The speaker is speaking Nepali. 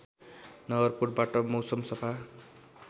नगरकोटबाट मौसम सफा